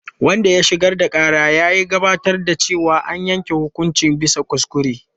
Wanda ya shigar da ƙara ya gabatar da cewa an yanke hukunci bisa kuskure.